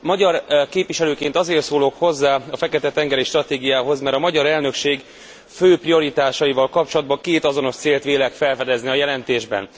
Magyar képviselőként azért szólok hozzá a fekete tengeri stratégiához, mert a magyar elnökség fő prioritásaival kapcsolatban két azonos célt vélek felfedezni a jelentésben.